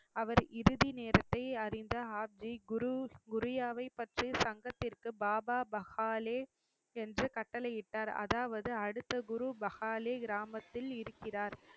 அவர் இறுதி நேரத்தை அறிந்த ஹர்தி குரு~ குருயாவை பற்றி சங்கத்திற்கு பாபா பஹாலே என்று கட்டளையிட்டார், அதாவது அடுத்த குரு பஹாலே கிராமத்தில் இருக்கிறார்